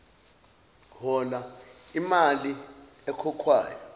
hona iimali ekhokhwayo